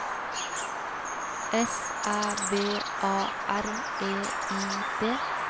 S Æ V A R E I D